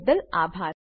અમને જોડાવાબદ્દલ આભાર